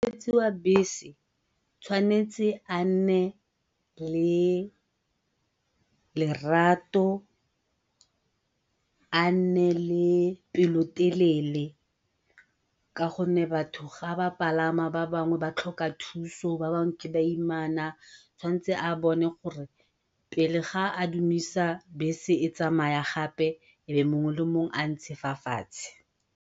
Mokgweetsi wa bese o tshwanetse a nne le lerato, a nne le pelotelele ka gonne batho ga ba palama ba bangwe ba tlhoka thuso ba bangwe ke baimana, tshwantse a bone gore pele a dumisa bese e tsamaya gape e be mongwe le mongwe a ntse fa fatshe.